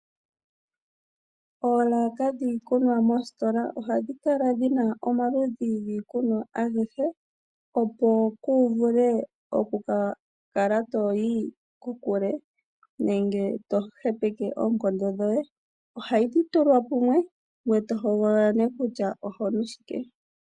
Oolaka dhiikunwa mositola ohadhi kala dhi na omaludhi giikunwa agehe, opo ku vule okukala to yi kokule nenge to hepeke oonkondo dhoye. Ohadhi tulwa pamwe ngoye e to hogolola nee kutya ohonu shike.